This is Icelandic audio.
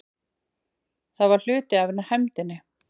Það var hluti af hefndinni.